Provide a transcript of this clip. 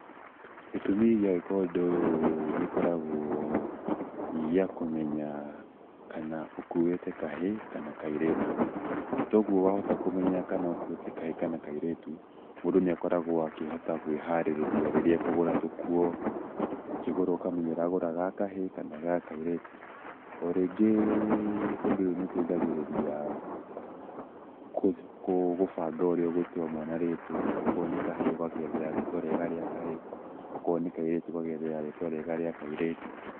Gĩtumi gĩa gwĩka ũndũ ũyũ gĩkoragwo gĩ gĩa kũmenya kana ũkuĩte kahĩĩ kana kairĩtu, na kwoguo warĩkia kũmenya kana ũkuĩte kahĩĩ kana kairĩtu mũndũ nĩ akoragwo kwĩ harĩrĩria rĩrĩa akũgũra tũkuo, ũkĩgũra ũkamenya ũragũra ha kahĩĩ kana ga kairĩtu, o rĩngĩ ũndũ ũyũ nĩ ũteithagĩrĩria gũbanga ũrĩa ũgũtua mwana rĩtwa okorwo nĩ kahĩĩ ũgagethĩra rĩtwa rĩega rĩa kahĩĩ okorwo nĩ kairĩtu ũgagethera rĩtwa rĩega rĩa kairĩtu.